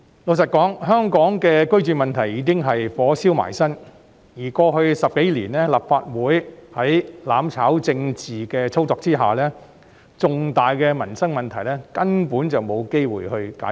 老實說，香港的居住問題已是"火燒埋身"，而過去10多年，立法會在"攬炒"政治的操作下，重大的民生問題根本沒有機會得到解決。